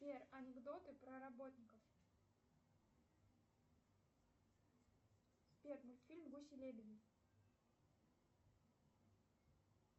сбер анекдоты про работников сбер мультфильм гуси лебеди